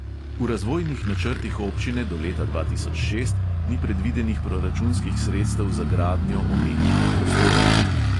V razvojnih načrtih občine do leta dva tisoč šest ni predvidenih proračunskih sredstev za gradnjo omenjenih prostorov.